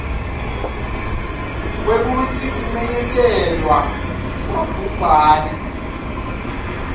kwekutsi kumenyetelwa kwabhubhane